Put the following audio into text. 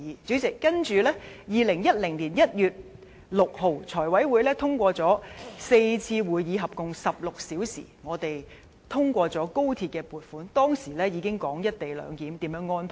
主席，接着2010年1月6日，財務委員會經過4次會議，合共16小時，我們通過高鐵撥款，當時已經討論"一地兩檢"如何安排。